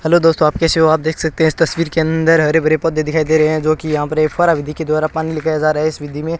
hello दोस्तों आप कैसे हो आप देख सकते हैं इस तस्वीर के अंदर हरे भरे पौधे दिखाई दे रहे हैं जोकि यहां पर ये फौरा विधि के द्वारा पानी लेके आया जा रहा है इस विधि में --